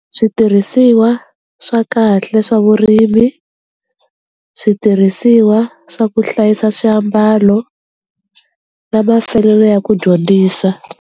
Switirhisiwa swa kahle swa vurimi switirhisiwa swa ku hlayisa swiambalo na mafelelo ya ku dyondzisa.